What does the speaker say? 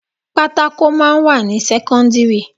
Pátákò máa ń wà ní sẹ́kọ́ńdírì.